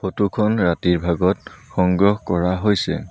Photo খন ৰাতিৰ ভাগত সংগ্ৰহ কৰা হৈছে।